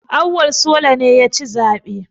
Auwal sola ne ya ci zaɓe